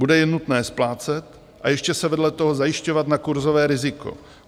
Bude je nutné splácet a ještě se vedle toho zajišťovat na kurzové riziko.